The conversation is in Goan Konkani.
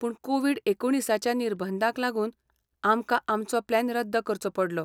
पूण कोविड एकुणीसच्या निर्बंधांक लागून आमकां आमचो प्लॅन रद्द करचो पडलो.